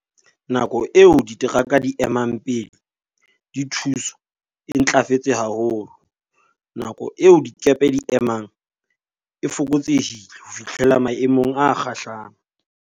Nako eo diteraka di e emang pele di thuswa e ntlafetse ha holo. Nako eo dikepe di e emang e fokotsehile ho fihlela maemong a kgahlang.